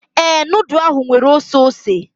Ee, nudu ahụ nwere oseose.